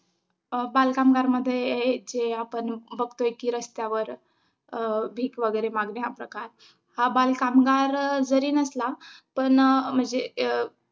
अं बालकामगार मध्ये जे आपण बघतोय कि रस्त्यावर अं भीक वगैरे मागणे हा प्रकार. हा बालकामगार जरी नसला पण अं म्हणजे अं